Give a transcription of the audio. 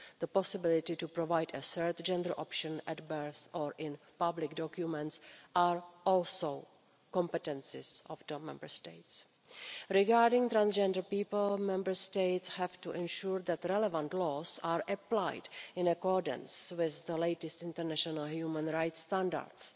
The possibility to provide a third gender option at birth or in public documents are also competences of the Member States. Regarding transgender people, Member States have to ensure that the relevant laws are applied in accordance with the latest international human rights standards.